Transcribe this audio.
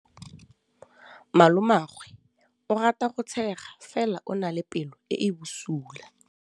Malomagwe o rata go tshega fela o na le pelo e e bosula.